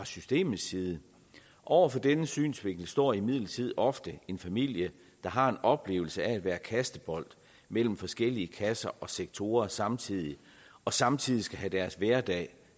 systemisk side over for denne synsvinkel står imidlertid ofte en familie der har en oplevelse af at være kastebold mellem forskellige kasser og sektorer samtidig og samtidig skal have deres hverdag